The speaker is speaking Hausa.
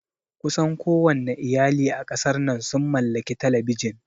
Kusan kowanne iyali a ƙasar nan sun mallaki Talabijin